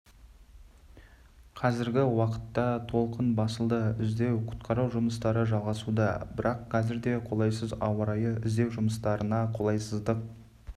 қазіргі уақытта толқын басылды іздеу-құтқару жұмыстары жалғасуда бірақ қазір де қолайсыз ауа райы іздеу жұмыстарына қолайсыздық